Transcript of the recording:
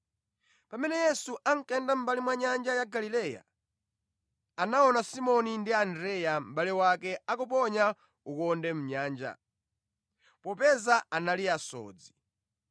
Pamene Yesu ankayenda mʼmbali mwa nyanja ya Galileya, anaona Simoni ndi mʼbale wake Andreya akuponya khoka mʼnyanja, popeza anali asodzi.